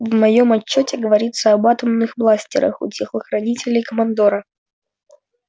в моём отчёте говорится об атомных бластерах у телохранителей командора